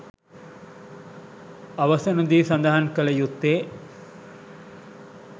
අවසනදී සදහන් කළ යුත්තේ